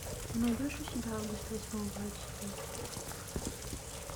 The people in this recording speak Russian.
ты найдешь у себя август восьмого эйч ди